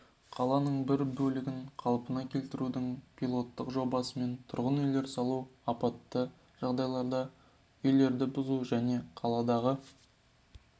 қаланың бір бөлігін қалпына келтірудің пилоттық жобасымен тұрғын үйлер салу апатты жағдайдағы үйлерді бұзу және қаладағы